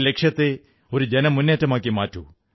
ഈ ലക്ഷ്യത്തെ ഒരു ജനമുന്നേറ്റമാക്കി മാറ്റൂ